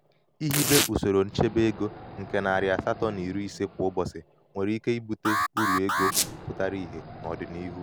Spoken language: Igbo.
ihibe ihibe usoro nchebe ego nke narị asatọ na iri ise kwa ụbọchị nwere ike ibute uru ego pụtara ihe n'odinihu.